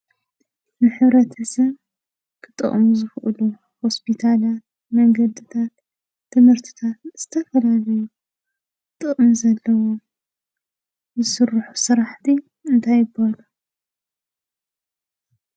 ንሕብረተሰብ ክጠቕሙ ዝኽእሉ ሆስፒታል፣ መንገድታት፣ ትምህርትታት፣ ዝተፈላለዩ ጥቕሚ ዘለዎም ዝስርሑ ስራሕቲ እንታይ ይበሃሉ?